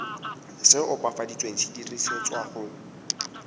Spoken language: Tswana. se opafaditsweng se dirisetswa go